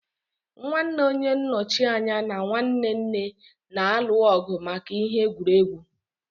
Nwanne onye nnochi anya na nwanne nne na-alụ ọgụ maka ihe egwuregwu.